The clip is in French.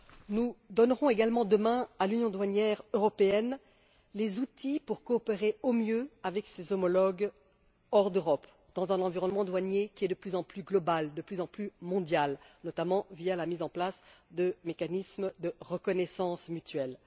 Nous donnerons également demain à l'union douanière européenne les outils pour coopérer au mieux avec ses homologues hors d'Europe, dans un environnement douanier qui est de plus en plus mondialisé, notamment via la mise en place de mécanismes de reconnaissance mutuelle.